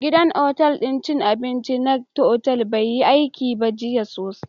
Gidan cin abinci na otal bai yi aiki ba tsawon watanni